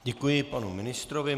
Děkuji panu ministrovi.